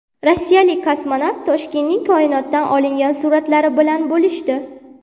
Rossiyalik kosmonavt Toshkentning koinotdan olingan suratlari bilan bo‘lishdi .